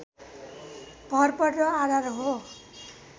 भरपर्दो आधार हो